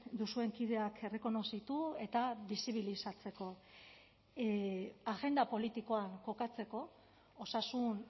duzuen kideak errekonozitu eta bizibilizatzeko agenda politikoan kokatzeko osasun